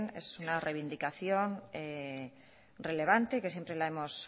es una reivindicación relevante y que siempre la hemos